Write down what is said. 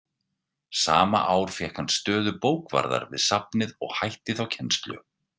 Sama ár fékk hann stöðu bókavarðar við safnið og hætti þá kennslu.